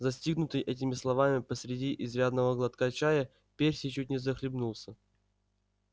застигнутый этими словами посреди изрядного глотка чая перси чуть не захлебнулся